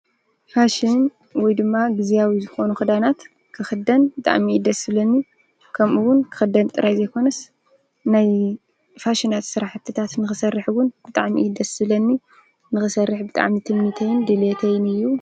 ፋሺን ኣብ ልብሲን ኣቀራርባን ዝረአ ዘመናዊ ልምዲ እዩ። ሰብ ርእሱ ንምግላጽን ጽቡቕ ንምቕራብን ይጠቕም። ፋሺን ብባህሊን ብዘመንን ይለዋወጥ።